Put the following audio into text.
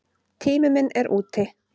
Tími minn er úti.